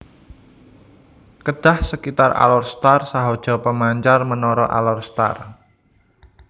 Kedah Sekitar Alor Star Sahaja Pemancar Menara Alor Star